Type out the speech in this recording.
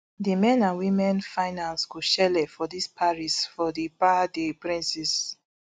di men and women finals go shele for paris for di parc des princes